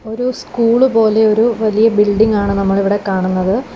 ഒരു സ്കൂള് പോലെ ഒരു വലിയ ബിൽഡിംഗാണ് നമ്മൾ ഇവിടെ കാണുന്നത്.